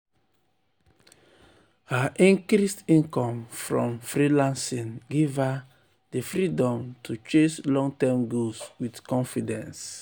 her increased income from freelancing give her di um freedom to chase long-term goals with confidence.